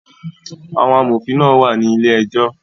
Àwọn amòfin náà wà ní ilé ejọ́